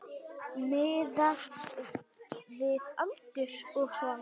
Miðað við aldur og svona.